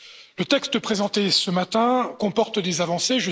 Le texte présenté ce matin comporte des avancées.